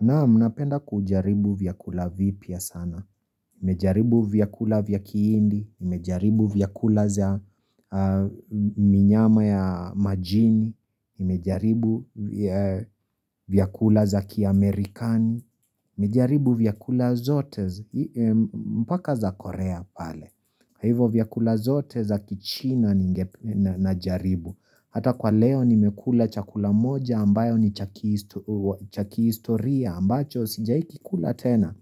Naam napenda kujaribu vyakula vipya sana. Nimejaribu vyakula vya kihindi, nimejaribu vyakula za minyama ya majini, nimejaribu vyakula za kiamerikani, nimejaribu vyakula zote, mpaka za korea pale. Kwa hivyo vyakula zote za kichina najaribu. Hata kwa leo nimekula chakula moja ambayo ni cha kistoria ambacho sijawahi kikula tena